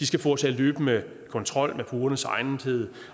skal foretage løbende kontrol med kundernes egnethed